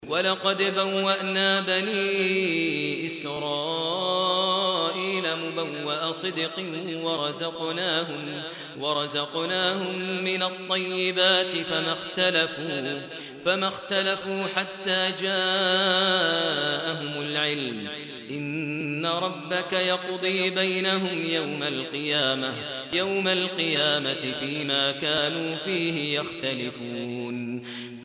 وَلَقَدْ بَوَّأْنَا بَنِي إِسْرَائِيلَ مُبَوَّأَ صِدْقٍ وَرَزَقْنَاهُم مِّنَ الطَّيِّبَاتِ فَمَا اخْتَلَفُوا حَتَّىٰ جَاءَهُمُ الْعِلْمُ ۚ إِنَّ رَبَّكَ يَقْضِي بَيْنَهُمْ يَوْمَ الْقِيَامَةِ فِيمَا كَانُوا فِيهِ يَخْتَلِفُونَ